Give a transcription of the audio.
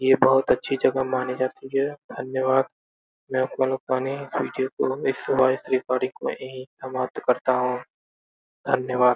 ये बोहोत अच्छी जगह मानी जाती है। धन्यवाद। मैं अपना इस वाइस रिकॉर्डिंग को यहीं समाप्त करता हूँ। धन्यवाद।